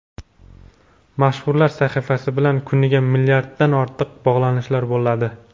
Mashhurlar sahifasi bilan kuniga milliarddan ortiq bog‘lanishlar bo‘ladi.